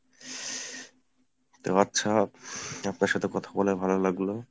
তো আচ্ছা আপনার সাথে কথা বলে ভালো লাগলো।